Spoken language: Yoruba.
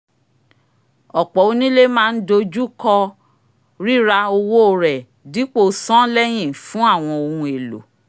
ọ̀pọ̀ onílé máa ń dojú kọ́ rira owó rẹ̀ dipo san lẹ́yìn fún àwọn ohun èlò